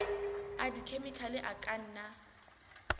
a dikhemikhale a ka nna